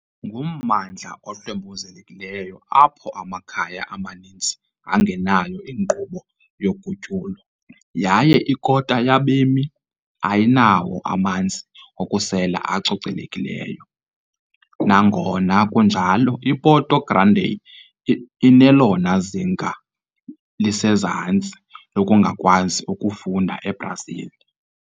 Ngummandla ohlwempuzekileyo apho amakhaya amaninzi angenayo inkqubo yogutyulo, yaye ikota yabemi ayinawo amanzi okusela acocekileyo, nangona kunjalo iPorto Grande inelona zinga lisezantsi lokungakwazi ukufunda eBrazil.